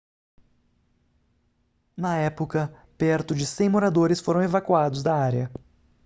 na época perto de 100 moradores foram evacuados da área